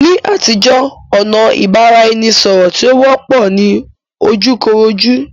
Ní àtijó, ọ̀nà ìbára eni sọ̀rọ̀ tí ó wọ́pọ̀ ni ojú koró jú.